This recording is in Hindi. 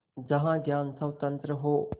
जहाँ ज्ञान स्वतन्त्र हो